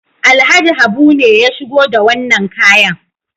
Alhaji Habu ne ya shigo da wannan kayan.